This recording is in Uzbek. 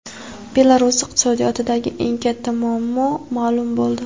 Belarus iqtisodiyotidagi eng katta muammo ma’lum bo‘ldi.